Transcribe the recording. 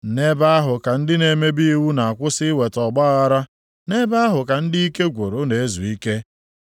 Nʼebe ahụ ka ndị na-emebi iwu na-akwụsị iweta ọgbaaghara, nʼebe ahụ ka ndị ike gwụrụ na-ezu ike.